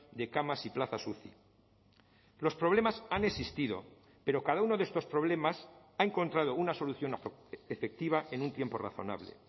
de camas y plazas uci los problemas han existido pero cada uno de estos problemas ha encontrado una solución efectiva en un tiempo razonable